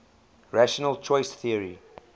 rational choice theory